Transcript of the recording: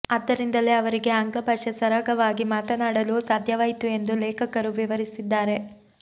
ಆದ್ದರಿಂದಲೇ ಅವರಿಗೆ ಆಂಗ್ಲ ಭಾಷೆ ಸರಾಗವಾಗಿ ಮಾತನಾಡಲು ಸಾಧ್ಯವಾಯಿತು ಎಂದು ಲೇಖಕರು ವಿವರಿಸಿದ್ದಾರೆ